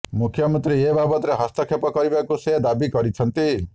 ମୁଖ୍ୟମନ୍ତ୍ରୀ ଏ ବାବଦରେ ହସ୍ତକ୍ଷେପ କରିବାକୁ ସେ ଦାବି କରିଛନ୍ତି